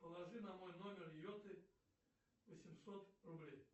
положи на мой номер йоты восемьсот рублей